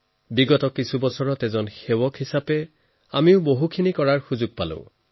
বিগত কিছু বছৰত বহু গুৰুত্বপূৰ্ণ পৰ্ব আহি আছে আৰু এজন সেৱক হিচাপে মই বহু কাম কৰাৰ সুযোগ পাইছো